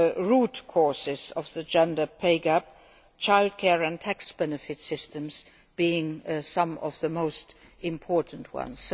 basic root causes of the gender pay gap childcare and tax benefit systems being some of the most important